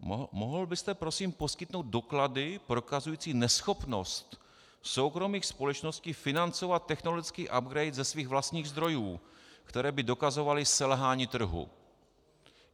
Mohl byste prosím poskytnout doklady prokazující neschopnost soukromých společností financovat technologický upgrade ze svých vlastních zdrojů, které by dokazovaly selhání trhu?